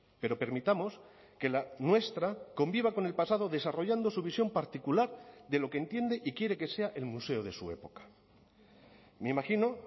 pero permitamos que la nuestra conviva con el pasado desarrollando su visión particular de lo que entiende y quiere que sea el museo de su época me imagino